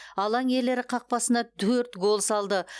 алаң иелері қақпасына төрт гол салды